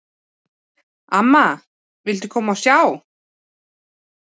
"""Amma, viltu koma og sjá!"""